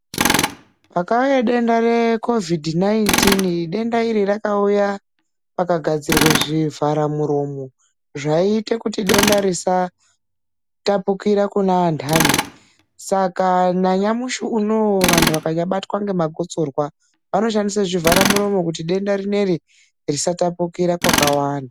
Pakauya denda reKovhidhi, denda iri rakauya pakagadzirwa zvivhara muromo ,zvaiita kuti denda risatapukira kune andani saka nanyamushi unowu vantu vakabatwa nemagosorwa vanoshandisa zvivhara muromo kuti denda risatapukira kwakawanda.